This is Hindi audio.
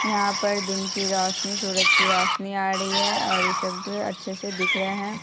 यहाँ पर दिन की सूरज की रौशनी आ रही है और ई सब अच्छे से दिख रहा हैं।